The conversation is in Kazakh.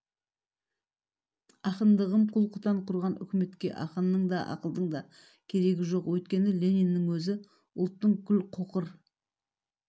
ақындығым құл-құтан құрған үкіметке ақынның да ақылдың да керегі жоқ өйткені лениннің өзі ұлттың күл-қоқыр